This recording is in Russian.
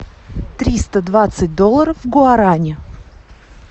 триста двадцать долларов в гуарани